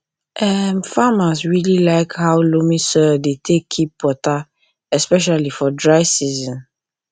um farmers really like how loamy soil take dey take keep water especially for dry season